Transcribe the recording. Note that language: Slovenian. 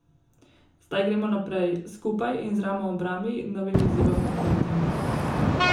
Zdaj gremo naprej, skupaj in z ramo ob rami novim izzivom naproti.